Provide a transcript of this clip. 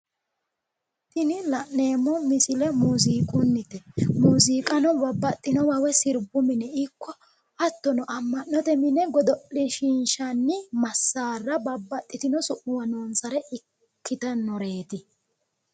Tini la'neemmo misile muuziiqunnite. Hattono amma'note mine godo'lishiinshanni massaara babbaxxitino su'muwa noonsare ikkitannoreeti.